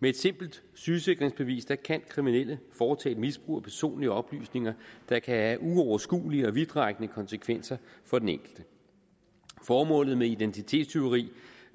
med et simpelt sygesikringsbevis kan kan kriminelle foretage et misbrug af personlige oplysninger der kan have uoverskuelige og vidtrækkende konsekvenser for den enkelte formålet med identitetstyveri